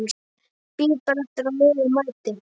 Bíð bara eftir að liðið mæti.